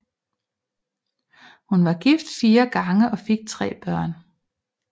Hun var gift fire gange og fik tre børn